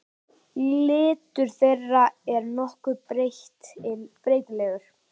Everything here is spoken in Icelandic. litur þeirra er nokkuð breytilegur